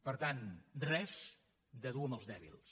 per tant res de dur amb els dèbils